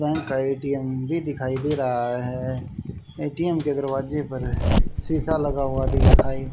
bank का ATM भी दिखाई दे रहा है ए-टी-एम के दरवाजे पर शीशा लगा हुआ दिखाई--